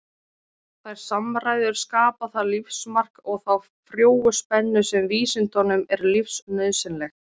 Þær samræður skapa það lífsmark og þá frjóu spennu sem vísindunum er lífsnauðsynleg.